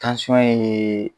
ye